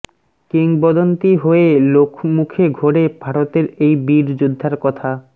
কিংবদন্তি হয়ে লোকমুখে ঘোরে ভারতের এই বীর যোদ্ধার কথা